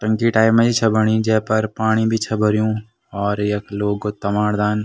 टंकी टाइप मा यी छा बणी जै पर पाणी भी छा भर्युं और यख लोग तमाड दान --